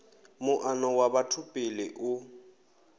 muano wa batho pele u